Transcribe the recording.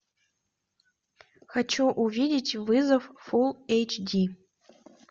хочу увидеть вызов фулл эйч ди